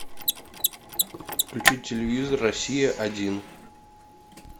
включить телевизор россия один